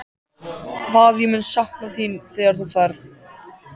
Hvað ég mun sakna þín þegar þú ferð.